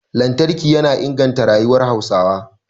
Lantarki yana inganta rayuwar Hausawa